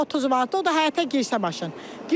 Maşın 30 manatdır, o da həyətə girirsə maşın.